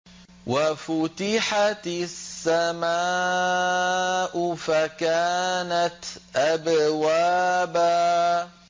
وَفُتِحَتِ السَّمَاءُ فَكَانَتْ أَبْوَابًا